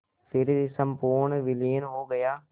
फिर संपूर्ण विलीन हो गया